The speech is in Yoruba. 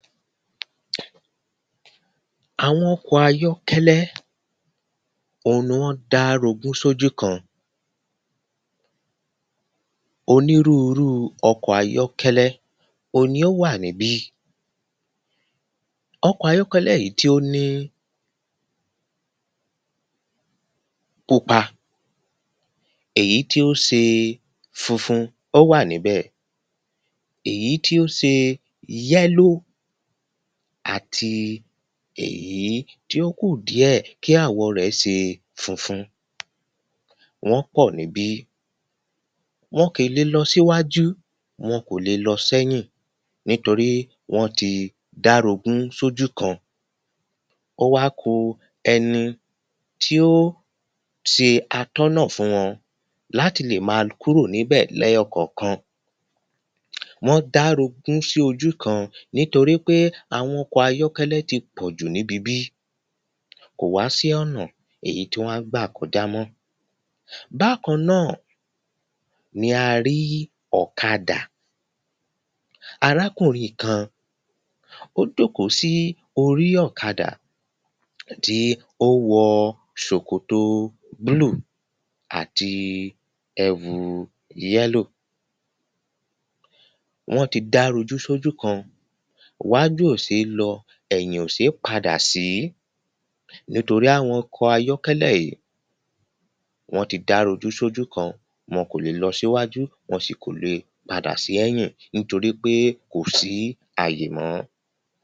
Àwọn ọkọ̀ ayọ́kẹ́lẹ́ o ni wọ́n ń darogún sójú kan. Onírúrú ọkọ̀ ayọ́kẹ́lẹ́ o ni ó wà níbí. Ọkọ̀ ayọ́kẹ́lẹ́ yìí tí ó ní pupa èyí tí ó se funfun ó wà níbẹ̀ èyí tí ó se yẹ́lò àti èyí tí ó kù díẹ̀ kí àwọ̀ rẹ̀ ṣe funfun wọ́n pọ̀ níbí. Wọn kò le lọ síwájú wọn kò le lọ sẹ́yìn nítorí wọ́n ti dá rogún sójú kan ó wá ku ẹni tí ó se atọ́nà fún wọn láti lè má kúrò níbẹ̀ lẹ́yọ kọ̀kan. Wọ́n dá rogún sí ojú kan nítorípé àwọn ọkọ̀ ayọ́kẹ́lẹ́ ti pọ̀jù níbi bí kò wá sí ọ̀nà èyí tí wọ́n á gbà kọjá mọ́. Bákan náà ni a rí ọ̀kadà arákùnrin kan ó jóòkó sí orí ọ̀kadà tí ó wọ ṣòkòtò blue àti ẹ̀wu yẹ́lò. Wọ́n ti dá rojú sójú kan wájú ò sé lọ ẹ̀yìn ò sé padà sí nítorí àwọn ọkọ̀ ayọ́kẹ́lẹ́ yìí wọ́n ti dá rogún sójú kan wọn kò le lọ síwájú wọ́n ò sì le padà sí ẹ̀yìn nítorípé kò sí àyè mọ́.